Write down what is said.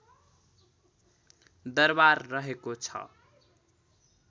दरबार रहेको छ